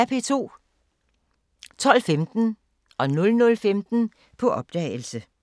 12:15: På opdagelse 00:15: På opdagelse